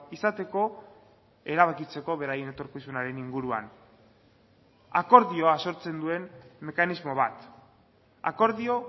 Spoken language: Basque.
izateko erabakitzeko beraien etorkizunaren inguruan akordioa sortzen duen mekanismo bat akordio